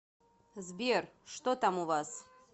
сбер что там у вас